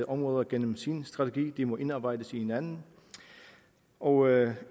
områder gennem sin strategi de må indarbejdes i hinanden og